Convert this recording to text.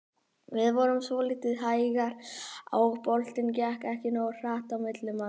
Við vorum svolítið hægir og boltinn gekk ekki nógu hratt á milli manna.